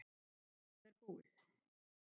Það er búið.